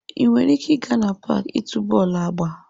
Ị nwere ike ịga n'paaki ịtu bọọlụ agba.